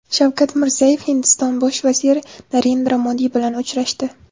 Shavkat Mirziyoyev Hindiston bosh vaziri Narendra Modi bilan uchrashdi.